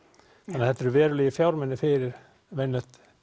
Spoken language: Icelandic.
þannig þetta eru verulegir fjármunir fyrir venjulegt